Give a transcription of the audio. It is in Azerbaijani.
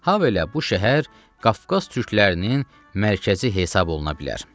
Habelə bu şəhər Qafqaz türklərinin mərkəzi hesabı oluna bilər.